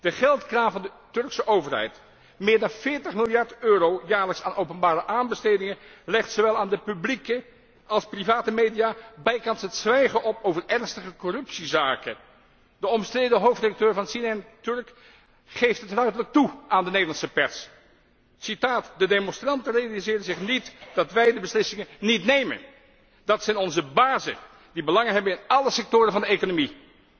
De geldkraan van de Turkse overheid meer dan 40 miljard euro jaarlijks aan openbare aanbestedingen legt zowel aan de publieke als aan de private media bijkans het zwijgen op over ernstige corruptiezaken. De omstreden hoofdredacteur van CNN Türk geeft het ruiterlijk toe aan de Nederlandse pers De demonstranten realiseren zich niet dat wij de beslissingen niet nemen. Dat zijn onze bazen die belangen hebben in alle sectoren van de economie.